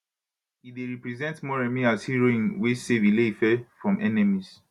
e dey represent moremi as heroine wey save ile ife from enemies